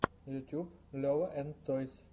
ютюб лева энд тойс